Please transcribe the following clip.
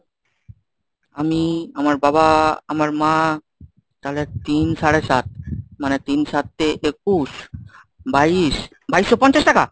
আমি আমার বাবা, আমার মা, তাহলে তিন সাড়ে সাত, মানে তিন সাতে একুশ, বাইশ, বাইশশো পঞ্চাশ টাকা?